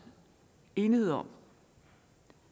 enighed om